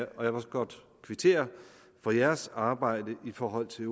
og jeg vil godt kvittere for deres arbejde i forhold til